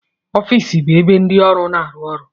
Ọfịs bụ ebe ndị ọrụ na-arụ ọrụ.